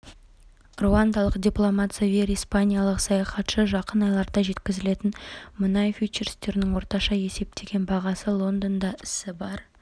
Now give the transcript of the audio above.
руандалық дипломат савьер испаниялық саяхатшы жақын айларда жеткізілетін мұнай фьючерстерінің орташа есептеген бағасы лондонда ісі барр